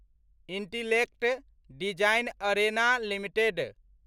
intellect design arena limited